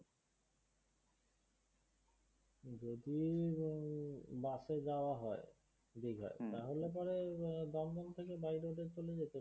bus এ যাওয়া হয় দীঘায় হম তাহলে পরে হম দমদম থেকে by road এ চলে যেতে